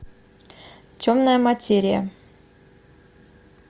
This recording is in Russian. темная материя